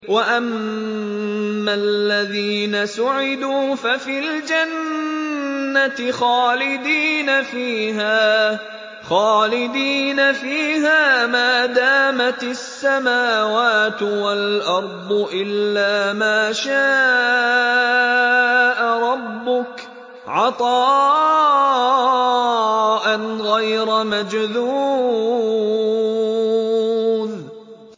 ۞ وَأَمَّا الَّذِينَ سُعِدُوا فَفِي الْجَنَّةِ خَالِدِينَ فِيهَا مَا دَامَتِ السَّمَاوَاتُ وَالْأَرْضُ إِلَّا مَا شَاءَ رَبُّكَ ۖ عَطَاءً غَيْرَ مَجْذُوذٍ